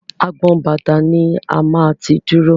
Agbọn bàtà ni a máa ti dúró.